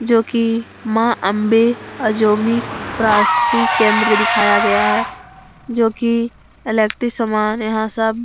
जोकि माँ आंबे अजोमिक प्रासि केन्द्र दिखाया गया है। जोकि इलेक्टि सामान यहाँ सब --